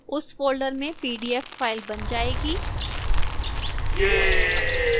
उस folder में pdf file बन जाएगी